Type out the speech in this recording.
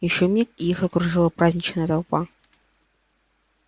ещё миг и их окружила праздничная толпа